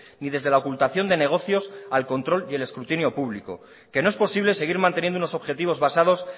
ni desde la ocultación de negocios al control y el escrutinio público que no es posible seguir manteniendo unos objetivos basados